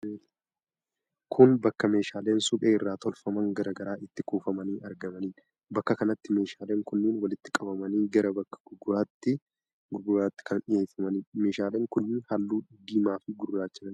Kun bakka meeshaaleen suphee irraa tolfaman garaa garaa itti kuufamanii argamanidha. Bakka kanatti meeshaaleen kunneen walitti qabamanii gara bakka gurgurtaatti kan dhiyyeeffamanidha. Meeshaaleen kunneen halluu diimaa fi gurraacha kan qabanidha.